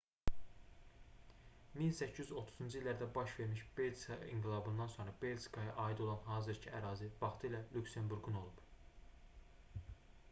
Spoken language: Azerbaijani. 1830-cu illərdə baş vermiş belçika i̇nqilabından sonra belçikaya aid olan hazırkı ərazi vaxtilə lüksemburqun olub